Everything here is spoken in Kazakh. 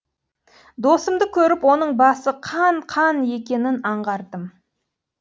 досымды көріп оның басы қан қан екенін аңғардым